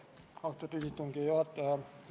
Austatud Riigikogu istungi juhataja!